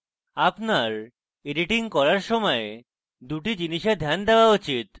আপনার editing করার সময় 2 টি জিনিসে ধ্যান দেওয়া উচিত